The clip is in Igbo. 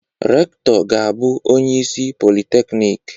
Rektọ ga-abụ onye isi Polịteknik.